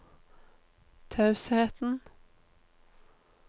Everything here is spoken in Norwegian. tausheten